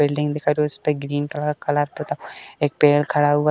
Building उसपे green colour colour पुता। एक पेड़ खड़ा हुआ --